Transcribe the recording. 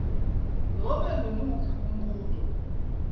nobe ngumuphi umbuto